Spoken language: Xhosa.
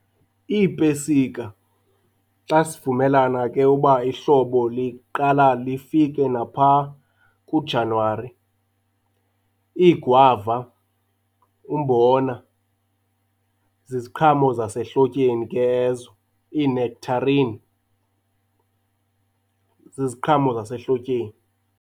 Iipesika, xa sivumelana ke uba ihlobo liqala lifike napha kuJanuwari. Iigwava, umbona, ziziqhamo zasehlotyeni ke ezo, iinekhtharin ziziqhamo zasehlotyeni.